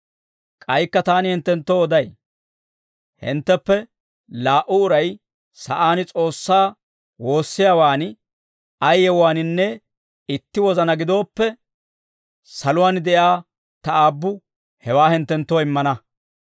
«K'aykka taani hinttenttoo oday; hintteppe laa"u uray sa'aan S'oossaa woossiyaawaan ay yewuwaaninne itti wozanaa gidooppe, saluwaan de'iyaa ta Aabbu hewaa hinttenttoo immana.